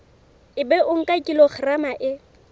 ebe o nka kilograma e